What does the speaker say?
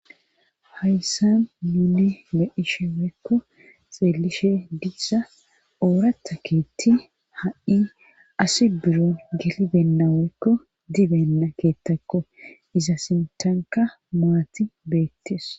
hayssa nuni be'ishe woykko xeelishe diza oorata keetti ha7i asi biron gelibenna woykko utibenna keettakko iza sintanka maati beettes